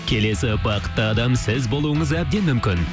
келесі бақытты адам сіз болуыңыз әбден мүмкін